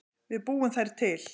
Við búum þær til